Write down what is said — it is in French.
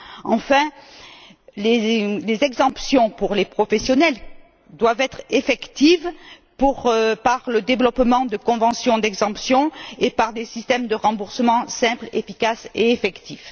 Enfin, les exemptions pour les professionnels doivent être effectives par le développement de conventions d'exemption et par des systèmes de remboursement simples, efficaces et effectifs.